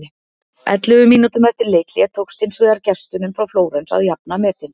Ellefu mínútum eftir leikhlé tókst hins vegar gestunum frá Flórens að jafna metin.